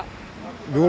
við erum